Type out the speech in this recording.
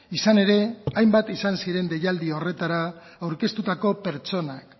izan ere hainbat izan ziren deialdi horretara aurkeztutako pertsonak